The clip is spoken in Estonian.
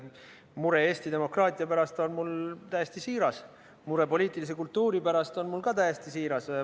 Mure Eesti demokraatia pärast on mul täiesti siiras, mure poliitilise kultuuri pärast on mul samuti täiesti siiras.